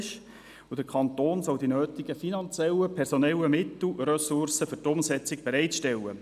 Zudem solle der Kanton die nötigen finanziellen und personellen Mittel und Ressourcen für die Umsetzung bereitstellen.